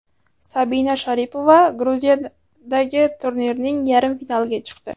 Sabina Sharipova Gruziyadagi turnirning yarim finaliga chiqdi.